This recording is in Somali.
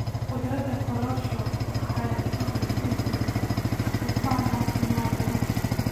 Khudradda korosho waxay hodan ku yihiin dufan caafimaad leh.